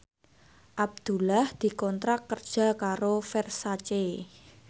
Abdullah dikontrak kerja karo Versace